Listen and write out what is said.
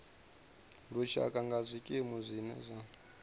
lushaka nga zwikimu zwine zwa